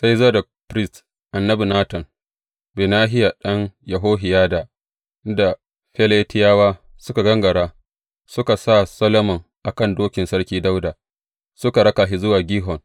Sai Zadok firist, annabi Natan, Benahiya ɗan Yehohiyada, Keretawa, da Feletiyawa suka gangara, suka sa Solomon a kan dokin Sarki Dawuda, suka raka shi zuwa Gihon.